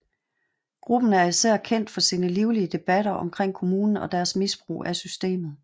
Gruppen er især kendt for sine livlige debatter omkring kommunen og deres misbrug af systemet